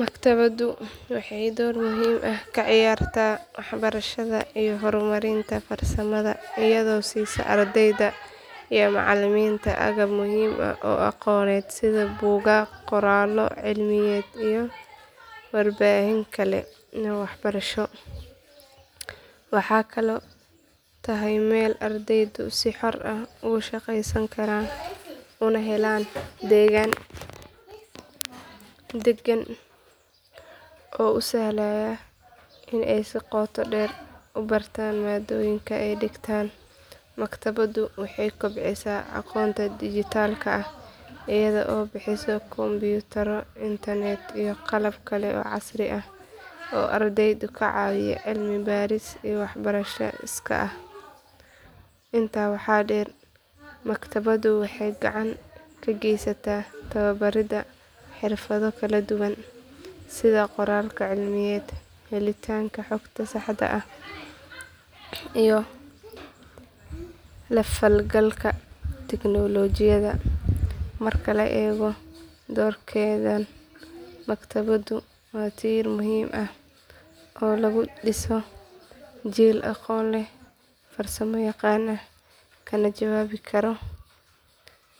Maktabaddu waxay door muhiim ah ka ciyaartaa waxbarashada iyo horumarinta farsamada iyadoo siisa ardayda iyo macallimiinta agab muhiim ah oo aqooneed sida buugaag qoraallo cilmiyeed iyo warbaahin kale oo waxbarasho. Waxay kaloo tahay meel ardaydu si xor ah ugu shaqaysan karaan una helaan degaan degan oo u sahlaya in ay si qoto dheer u bartaan maadooyinka ay dhigtaan. Maktabaddu waxay kobcisaa aqoonta dhijitaalka ah iyada oo bixisa kombiyuutarro internet iyo qalab kale oo casri ah oo ardayda ka caawiya cilmi baaris iyo waxbarasho iskaa ah. Intaa waxaa dheer maktabaddu waxay gacan ka geysataa tababaridda xirfado kala duwan sida qoraalka cilmiyeed helitaanka xogta saxda ah iyo la falgalka tignoolajiyada. Marka la eego doorkeedan maktabaddu waa tiir muhiim ah oo lagu dhiso jiil aqoon leh farsamo yaqaan ah kana jawaabi kara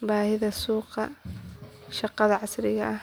baahida suuqa shaqada casriga ah.